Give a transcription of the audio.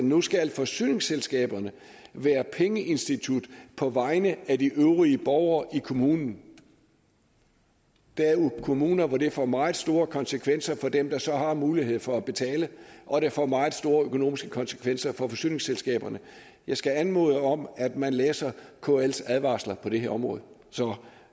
nu skal forsyningsselskaberne være pengeinstitutter på vegne af de øvrige borgere i kommunen der er jo kommuner hvor det får meget store konsekvenser for dem der så har mulighed for at betale og det får meget store økonomiske konsekvenser for forsyningsselskaberne jeg skal anmode om at man læser kls advarsler på det her område så